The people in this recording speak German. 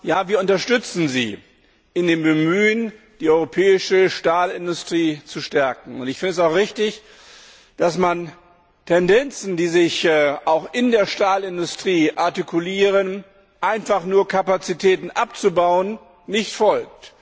Ja, wir unterstützen Sie in dem Bemühen, die europäische Stahlindustrie zu stärken. Und ich finde es auch richtig, dass man Tendenzen, die sich auch in der Stahlindustrie artikulieren, nämlich einfach nur Kapazitäten abzubauen, nicht folgt.